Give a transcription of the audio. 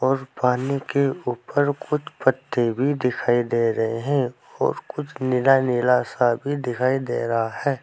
और पानी के ऊपर कुछ पत्ते भी दिखाई दे रहे हैं और कुछ नीला नीला सा भी दिखाई दे रहा है।